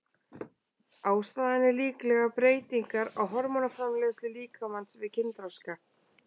Ástæðan er líklega breytingar á hormónaframleiðslu líkamans við kynþroska.